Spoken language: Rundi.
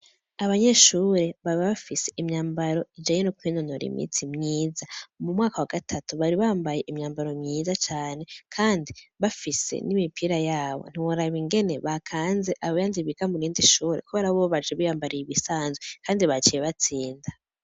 Abanyeshure baba bafise imyambaro ijaye n'ukwenonora imitsi mwiza mu mwaka wa gatatu bari bambaye imyambaro myiza cane, kandi bafise n'imipira yabo ntiboraba ingene bakanze abayanzibigamurinde ishure ko barabobaje biyambarire ibisanzwe, kandi baciye batsinda.